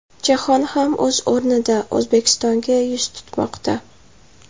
Jahon ham, o‘z o‘rnida, O‘zbekistonga yuz tutmoqda.